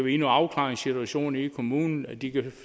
i en afklaringssituation i kommunen og de kan